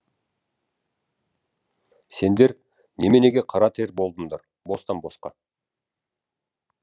сендер неменеге қара тер болдыңдар бостан босқа